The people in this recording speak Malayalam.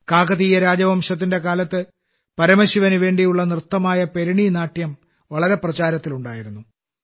കാകതീയ രാജവംശത്തിന്റെ കാലത്ത് പരമശിവനു വേണ്ടിയുള്ള നൃത്തമായ പെരിണി നാട്യം വളരെ പ്രചാരത്തിലുണ്ടായിരുന്നു